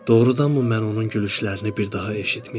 Doğrudanmı mən onun gülüşlərini bir daha eşitməyəcəm?